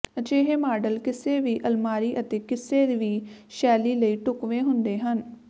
ਅਜਿਹੇ ਮਾਡਲ ਕਿਸੇ ਵੀ ਅਲਮਾਰੀ ਅਤੇ ਕਿਸੇ ਵੀ ਸ਼ੈਲੀ ਲਈ ਢੁਕਵੇਂ ਹੁੰਦੇ ਹਨ